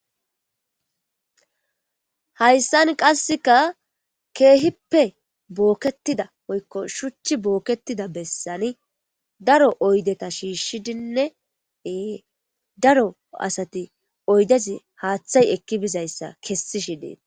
hayssan qasseka keehippe bookketida woykko shuchchi bookketida bessani daro oydeta shiishshidinnee daro asati oydezi haaththay ekki bizayssa kessi shidee